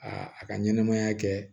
Aa a ka ɲɛnɛmaya kɛ